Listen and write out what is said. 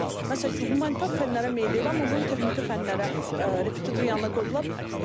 Məsəl üçün, humanitar fənlərə meyilli, amma bunu texniki fənlərə repititor yanına qoyublar.